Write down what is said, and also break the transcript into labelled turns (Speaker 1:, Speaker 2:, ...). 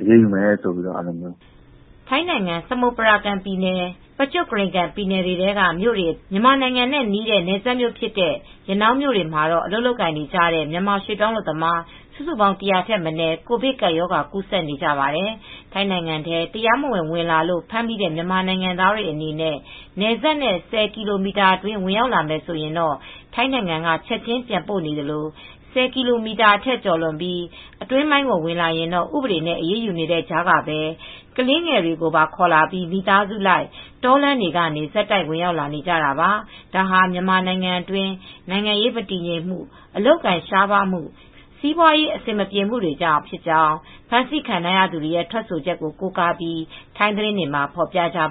Speaker 1: အရေးယူမယ်ပြောတယ်။
Speaker 2: ” ထိုင်းနိုင်ငံ ၊ စမုတ်ပရကန်ပြည်နယ်၊ ပကျွတ်ကရိန်ကန်ပြည်နယ်ထဲက မြို့တွေအပြင်၊ မြန်မာနိုင်ငံနဲ့ နယ်စပ်မြို့ဖြစ်တဲ့ ရနောင်းမြို့တွေမှာ အလုပ်လုပ်နေကြတဲ့ မြန်မာရွှေ့ပြောင်းလုပ်သား စုစုပေါင်း ၁၀၀ ထက်မနည်း ကိုဗစ်ကပ်ရောဂါ ကူးစက်နေကြပါတယ်။ ထိုင်းနိုင်ငံထဲ တရားမဝင် ဝင်လာလို့ ဖမ်းမိ တဲ့မြန်မာနိုင်ငံသားတွေအနေနဲ့ နယ်စပ်နဲ့ ၁၀ကီလိုမီတာအတွင်း ဝင်ရောက်လာမယ်ဆိုရင်တော့ ထိုင်းနိုင်ငံကချက်ချင်း ပြန်ပို့နေသလို ၁၀ ကီလိုမီတာ အထက်ကျော်လွန်ပြီး အတွင်းပိုင်း ကို ဝင်လာရင်တော့ ဥပဒေနဲ့ အရေးယူနေတဲ့ကြားကပဲ ကလးငယ်တွေပါ ခေါ်လာပြီး မိသားစုလိုက် တောလမ်းတွေကနေ ဆက်တိုက်ဝင်ရောက်လာနေကြတာပါ။ ဒါဟာ မြန်မာနိုင်ငံအတွင်း နိုင်ငံရေးမတည်ငြိမ်မူ အလုပ်အကိုင် ရှားပါးမှု၊ စီးပွားရေး အဆင်မပြေမှုတွေကြောင့် ဖြစ်ကြောင်း ဖမ်းဆီးခံရသူတွေရဲ့ ထွက်ဆိုချက်တွေကို ကိုးကားပြီး ထိုင်းသတင်းတွေမှာ ဖော်ပြကြပါ